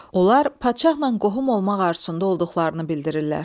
Onlar padşahla qohum olmaq arzusunda olduqlarını bildirirlər.